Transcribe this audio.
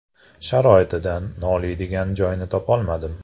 Sharoitidan noliydigan joyini topolmadim.